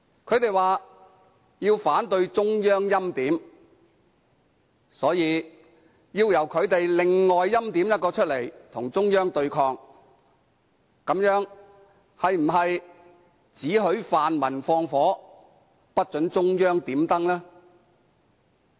他們說要反對中央欽點，所以要由他們另外欽點一人與中央對抗，這樣是否"只許泛民放火，不准中央點燈"？